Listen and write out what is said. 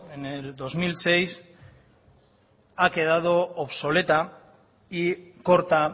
en el dos mil seis ha quedado obsoleta y corta